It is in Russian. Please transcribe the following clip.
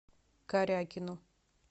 карякину